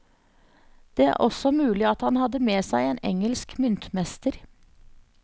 Det er også mulig at han hadde med seg en engelsk myntmester.